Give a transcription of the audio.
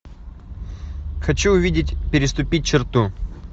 хочу увидеть переступить черту